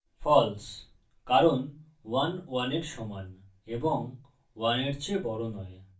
false কারণ 11 এর সমান এবং 1এর চেয়ে বড় নয়